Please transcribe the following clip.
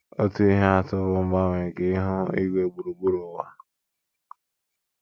Otu ihe atụ bụ mgbanwe nke ihu igwe gburugburu ụwa.